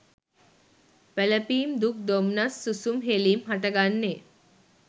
වැළපීම් දුක් දොම්නස් සුසුම් හෙළීම් හටගන්නේ.